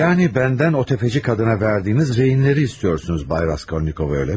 Yəni məndən o təfəçi qadına verdiyiniz rehinləri istiyorsunuz, Bay Raskolnikov, elə mi?